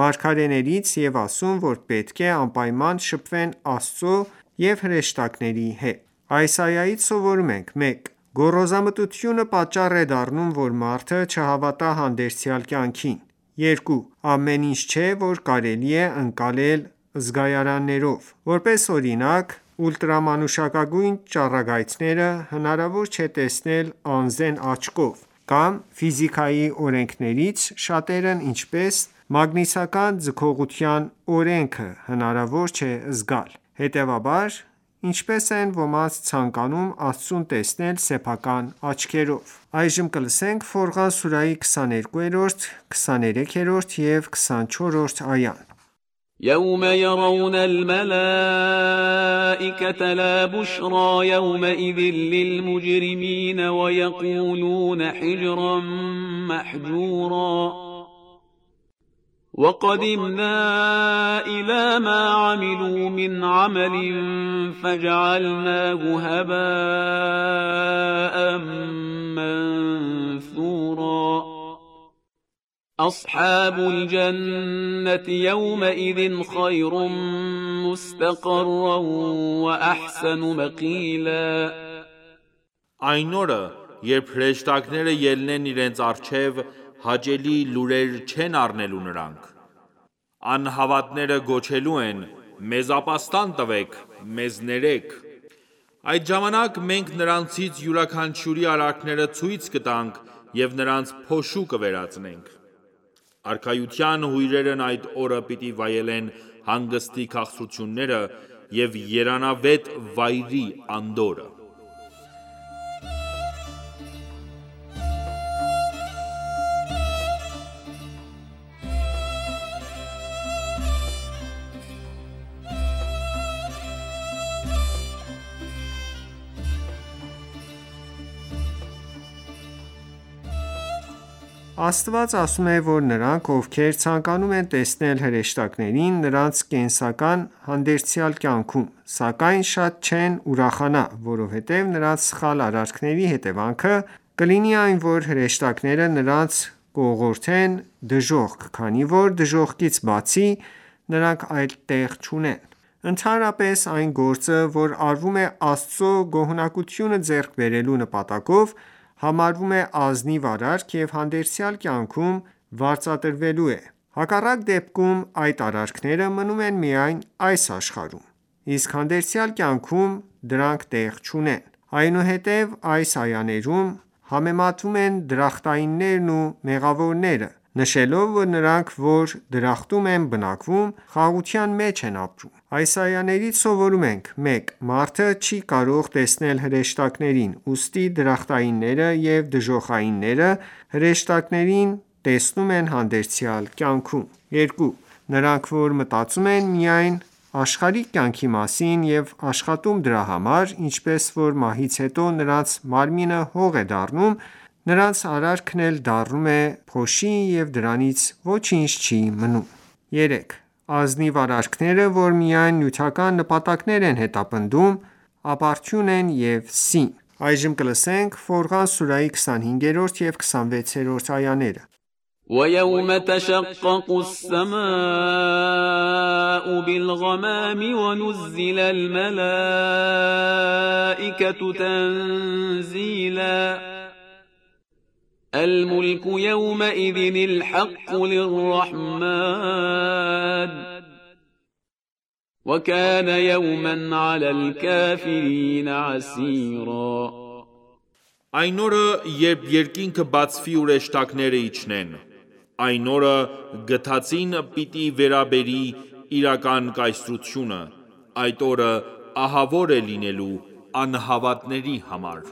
մարգարեներից և ասում, որ պետք է անպայման շփվեն Աստծո և հրեշտակների հետ: Այս այայից սովորում ենք. 1. Գոռոզամտությունը պատճառ է դառնում, որ մարդը չհավատա հանդերձյալ կյանքին: 2. Ամեն ինչ չէ, որ կարելի է ընկալել զգայարաններով: Որպես օրինակ, ուլտրամանուշակագույն ճառագայթները հնարավոր չէ տեսնել անզեն աչքով կամ ֆիզիկայի օրենքներից շատերն ինչպես մագնիսական ձգողության օրենքը, հնարավոր չէ զգալ: Հետևաբար ինչպե՞ս են ոմանք ցանկանում Աստծուն տեսնել սեփական աչքերով: Ֆորղան սուրաhի 22,23 և 24-րդ այաներ وَقَدِمْنَا إِلَى مَا عَمِلُوا مِنْ عَمَلٍ فَجَعَلْنَاهُ هَبَاء مَّنثُورًا أَصْحَابُ الْجَنَّةِ یَوْمَئِذٍ خَیْرٌ مُّسْتَقَرًّا وَأَحْسَنُ مَقِیلًا Այն օրը, երբ հրեշտակները ելնեն իրենց առջև, հաճելի լուրեր չեն առնելու նրանք: Ահավատները գոչելու են. «Մեզ ապաստան տվեք, մեզ ներեք»: Այդ ժամանակ մենք նրանցից յուրաքանչյուրի արարքները ցույց կտանք և նրանց փոշու կվերածենք: Արքայության հյուրերն այդ օրը պիտի վայելեն հանգստի քաղցրությունները և երանավետ վայրի անդորրը: Աստված ասում է, որ նրանք, ովքեր ցանկանում են տեսնել հրեշտակներին, նրանց կտեսնեն հանդերձյալ կյանքում: Սակայն շատ չեն ուրախանա, որովհետև նրանց սխալ արարքների հետևանքը կլինի այն, որ հրեշտակները նրանց կուղղորդեն դժոխք, քանի որ դժոխքից բացի, նրանք այլ տեղ չունեն: Ընդհանրապես, այն գործը, որ արվում է Աստծո գոհունակությունը ձեռք բերելու նպատակով, համարվում է ազնիվ արարք և հանդերձյալ կյանքում վարձատրվելու է: Հակառակ դեպքում, այդ արարքները մնում են միայն այս աշխարհում: Իսկ հանդերձյալ կյանքում դրանք տեղ չունեն: Այնուհետև այս այաներում համեմատվում են դրախտայիններն ու մեղավորները, նշելով, որ նրանք, որ դրախտում են բնակվում, խաղաղության մեջ են ապրում: Այս այաներից սովորում ենք. 1. Մարդը չի կարող տեսնել հրեշտակներին, ուստի դրախտայինները և դժոխայինները հրեշտակներին տեսնում են հանդերձյալ կայնքում: 2. Նրանք, որ մտածում են միայն աշխարհիկ կյանքի մասին և աշխատում դրա համար, ինչպես որ մահից հետո նրանց մարմինը հող է դառնում, նրանց արարքն էլ դառնում է փոշի և դրանից ոչինչ չի մնում: 3. Անազնիվ արարքները, որ միայն նյութական նպատակներ են հետապնդում, ապարդյուն են և սին: Ֆորղան սուրահի 25 և 26-րդ այաներ وَیَوْمَ تَشَقَّقُ السَّمَاء بِالْغَمَامِ وَنُزِّلَ الْمَلَائِکَةُ تَنزِیلًا الْمُلْکُ یَوْمَئِذٍ الْحَقُّ لِلرَّحْمَنِ وَکَانَ یَوْمًا عَلَى الْکَافِرِینَ عَسِیرًا Այն օրը, երբ երկինքը բացվի ու հրեշտակները իջնեն: Այն օրը Գթածին պիտի վերաբերի Իրական կայսրությունը: Այդ օրը ահավոր է լինելու անհավատների համար: